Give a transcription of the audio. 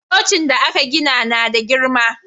Cocin da aka gina na da girma